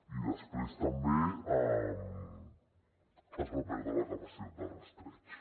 i després també es va perdre la capacitat de rastreig